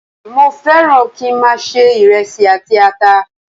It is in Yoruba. Mo fẹ́ràn kí í máa se iresi àti ata.